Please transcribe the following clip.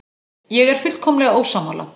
Ég er fullkomlega ósammála.